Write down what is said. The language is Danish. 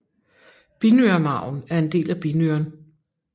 Binyremarven er en del af binyren